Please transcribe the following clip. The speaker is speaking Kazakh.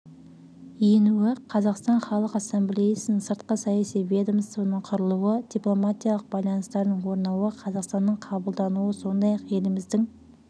енуі қазақстан халқы ассамблеясының сыртқы саяси ведомствоның құрылуы дипломатиялық байланыстардың орнауы қазақстанның қабылдануы сондай-ақ еліміздің